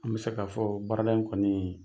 An bi se ka fɔ baara in kɔni